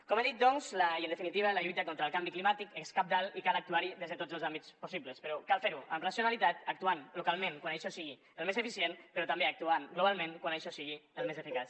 com he dit doncs i en definitiva la lluita contra el canvi climàtic és cabdal i cal actuar hi des de tots els àmbits possibles però cal fer ho amb racionalitat actuant localment quan això sigui el més eficient però també actuant globalment quan això sigui el més eficaç